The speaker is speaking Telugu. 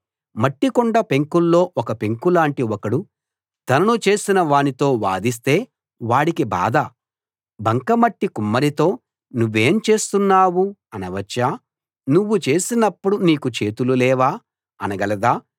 మట్టికుండ పెంకుల్లో ఒక పెంకులాటి ఒకడు తనను చేసిన వానితో వాదిస్తే వాడికి బాధ బంకమట్టి కుమ్మరితో నువ్వేం చేస్తున్నావ్ అనవచ్చా నువ్వు చేసినపుడు నీకు చేతులు లేవా అనగలదా